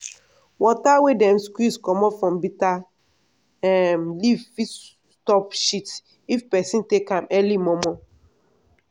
water wey dem squeeze comot from bitter um leaf fit stop shit if peson take am early mor mor.